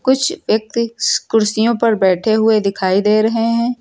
कुछ व्यक्ति कुर्सियों पर बैठे हुए दिखाई दे रहे है।